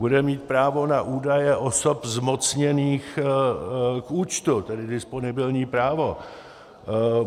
Bude mít právo na údaje osob zmocněných k účtu, tedy disponibilní právo.